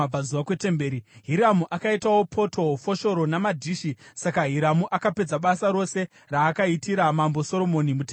Hiramu akaitawo poto, foshoro namadhishi. Saka Hiramu akapedza basa rose raakaitira Mambo Soromoni mutemberi yaJehovha: